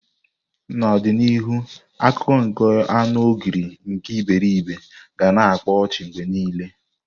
N'ọdịnihu akụkọ nke anu Ogre nke iberibe ga na akpa ọchị mgbe niile.